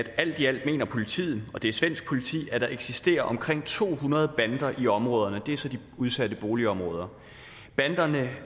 alt i alt mener politiet det er svensk politik at der eksisterer omkring to hundrede bander i områderne det er så de udsatte boligområder banderne